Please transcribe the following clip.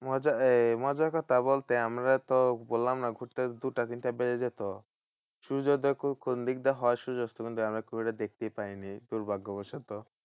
মজা এই মজার কথা বলতে আমরা তো বললাম না ঘুরতে দুটা তিনটা বেজে যেত। সূর্যোদয় কোন দিক দিয়ে হয়? সূর্যাস্ত কোন দিক দিয়ে হয়? আমরা খুব একটা দেখতে পাইনি দুৰ্ভাগবশত।